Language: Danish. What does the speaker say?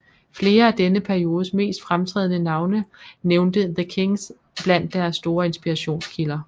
Flere af denne periodes mest fremtrædende navne nævnte The Kinks blandt deres store inspirationskilder